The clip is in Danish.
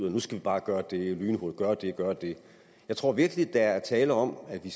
at nu skal vi bare gøre det gøre det og det jeg tror virkelig der er tale om at vi